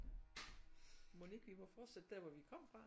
Mon ikke vi må fortsætte der hvor vi kom fra